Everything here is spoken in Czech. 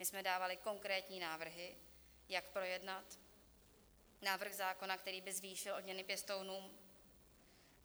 My jsme dávali konkrétní návrhy, jak projednat návrh zákona, který by zvýšil odměny pěstounům.